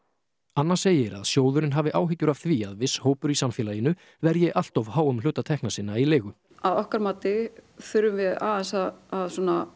anna segir að sjóðurinn hafi áhyggjur af því að viss hópur í samfélaginu verji allt of háum hluta tekna sinna í leigu að okkar mati þurfum við aðeins að